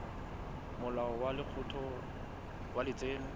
molao wa lekgetho wa letseno